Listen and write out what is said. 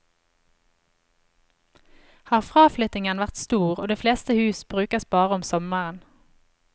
Har har fraflyttingen vært stor og de fleste hus brukes bare om sommeren.